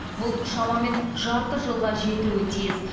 бұл шамамен жарты жылға жетуі тиіс